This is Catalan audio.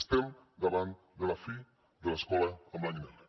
estem davant de la fi de l’escola en blanc i negre